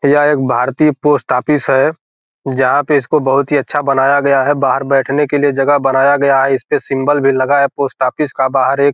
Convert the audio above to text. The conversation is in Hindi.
यह एक भारतीय पोस्ट ऑफिस है जहां पे इसको बहुत ही अच्छा बनाया गया है बाहर बैठने के लिए जगह बनाया गया है इसपे सिंबल भी लगा है पोस्ट ऑफिस का बाहर एक --